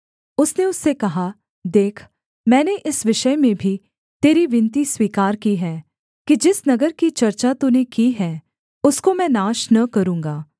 उसने उससे कहा देख मैंने इस विषय में भी तेरी विनती स्वीकार की है कि जिस नगर की चर्चा तूने की है उसको मैं नाश न करूँगा